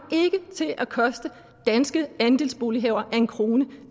til at koste danske andelsbolighavere en krone